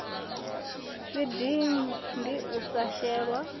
si dindi la u shelwa